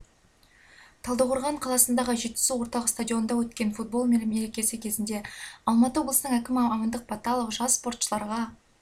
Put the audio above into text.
талдықорған қаласындағы жетісу орталық стадионында өткен футбол мерекесі кезінде алматы облысының әкімі амандық баталов жас спортшыларға